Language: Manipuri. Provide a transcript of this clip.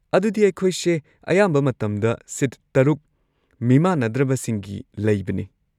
ꯑꯗꯨꯗꯤ ꯑꯩꯈꯣꯏꯁꯦ ꯑꯌꯥꯝꯕ ꯃꯇꯝꯗ ꯁꯤꯠ ꯇꯔꯨꯛ ꯃꯤꯃꯥꯟꯅꯗ꯭ꯔꯕꯁꯤꯡꯒꯤ ꯂꯩꯕꯅꯦ꯫